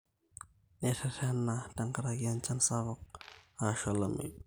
Nirerena tenkaraki enchan sapuk ashuu olameyu